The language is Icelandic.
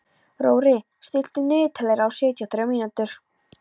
Rorí, stilltu niðurteljara á sjötíu og þrjár mínútur.